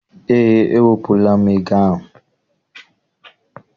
Eé, ewepụla m ego ahụ.